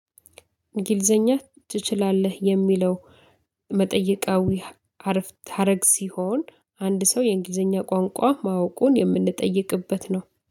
እንግሊዘኛ ትችላለህ የሚለው መጠይቃዊ ሀረፍተ ሀረግ ሲሆን አንድ ሰው የእንግሊዘኛ ቋንቋ ማወቁን የምንጠይቅበት ነው